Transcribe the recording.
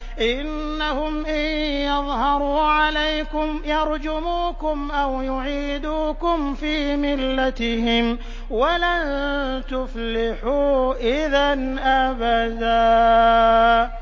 إِنَّهُمْ إِن يَظْهَرُوا عَلَيْكُمْ يَرْجُمُوكُمْ أَوْ يُعِيدُوكُمْ فِي مِلَّتِهِمْ وَلَن تُفْلِحُوا إِذًا أَبَدًا